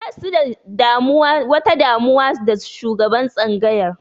Basu da wata damuwa da shugaban tsangayar